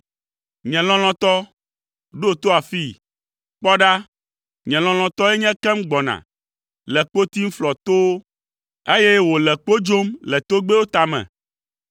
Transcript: Nye lɔlɔ̃tɔ, ɖo to afii! Kpɔ ɖa, nye lɔlɔ̃tɔe nye ekem gbɔna, le kpo tim flɔ towo, eye wòle kpo dzom le togbɛwo tame.